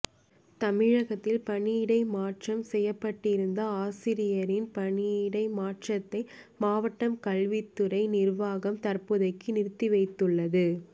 தமிழகத்தில் பணியிடை மாற்றம் செய்யப்பட்டிருந்த ஆசிரியரின் பணியிட மாற்றத்தை மாவட்ட கல்வித்துறை நிர்வாகம் தற்போதைக்கு நிறுத்தி வைத்துள்ளது